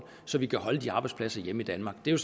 så vi kan holde de arbejdspladser hjemme i danmark det er